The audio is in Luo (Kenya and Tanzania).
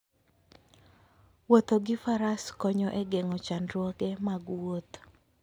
Wuotho gi faras konyo e geng'o chandruoge mag wuoth.